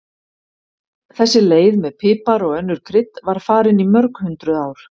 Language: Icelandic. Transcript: Þessi leið með pipar og önnur krydd var farin í mörg hundruð ár.